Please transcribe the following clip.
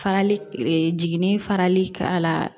Farali e jiginni farali k'a la